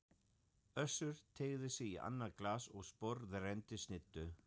Össur teygði sig í annað glas og sporðrenndi snittu.